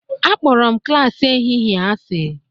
Akpọrọ m klas ehihie asị